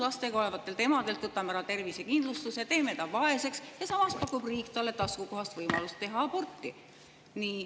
Lastega kodus olevalt emalt võtame ära tervisekindlustuse ja teeme ta vaeseks, aga samas pakub riik talle taskukohast võimalust teha aborti.